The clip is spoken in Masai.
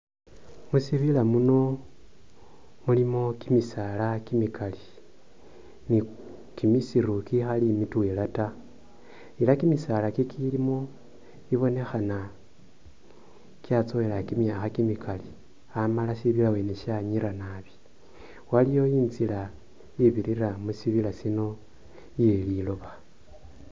Musibila muno mulimo kimisala kimikali ni kimosiru kikhali mitwela taa ela kimisala kikilimo ibonekhana kyatsowela kyimyakha kimikali amala shibira wene shanyira nabi ,waliwo nzila ibirira mu shinira shino iye’liloba.